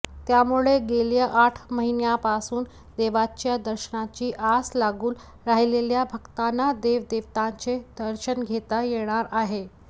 त्यामुळे गेल्या आठ महिन्यांपासून देवाच्या दर्शनाची आस लागून राहिलेल्या भक्तांना देवदेवतांचे दर्शन घेता येणार आहे